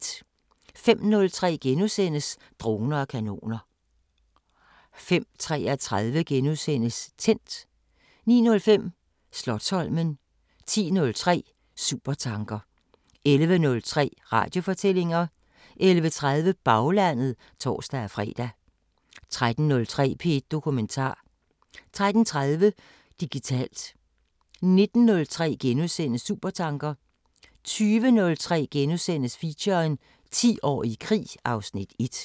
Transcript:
05:03: Droner og kanoner * 05:33: Tændt * 09:05: Slotsholmen 10:03: Supertanker 11:03: Radiofortællinger 11:30: Baglandet (tor-fre) 13:03: P1 Dokumentar 13:30: Digitalt 19:03: Supertanker * 20:03: Feature: 10 år i krig (Afs. 1)*